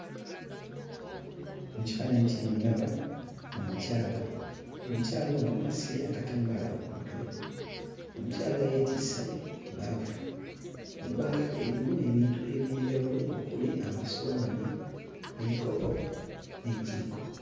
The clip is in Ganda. Mu kifaananyi kino ndaba omukyala. Omukyala ono asibye akatambaala ku mutwe, omukyala yeetisse ebbaafu, ebbaafu erimu ebintu eby'enjawulo okuli amasowaani, ebikopo n'ejjiiko.